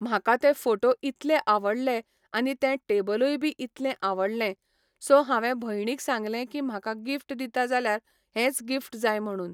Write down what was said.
म्हाका ते फोटो इतले आवडले आनी तें टेबलूय बी इतलें आवडलें, सो हांवें भयणीक सांगलें की म्हाका गिफ्ट दिता जाल्यार हेंच गिफ्ट जाय म्हणून.